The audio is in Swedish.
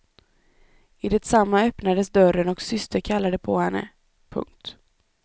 I detsamma öppnades dörren och syster kallade på henne. punkt